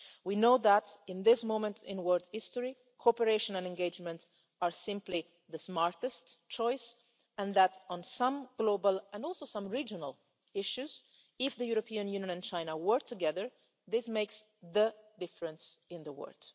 world. We know that, at this moment in world history, cooperation and engagement are simply the smartest choice and that, on some global and also some regional issues, if the European Union and China work together, this makes the difference in the